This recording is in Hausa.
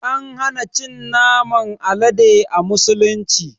An hana cin naman Alade a musulunci.